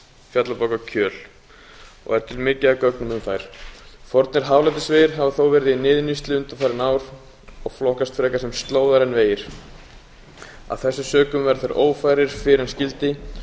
fjallabak og kjöl og er til mikið af gögnum um þær fornir hálendisvegir hafa þó verið í niðurníðslu undanfarin ár og flokkast frekar sem slóðar en vegir af þessum sökum verða þeir ófærir fyrr en skyldi